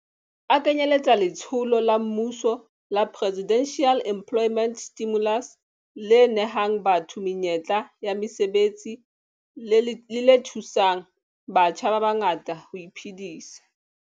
A kenyeletsa letsholo la mmuso la Presidential Employment Stimulus le nehang batho menyetla ya mosebetsi le le thusang batjha ba bangata ho iphedisa.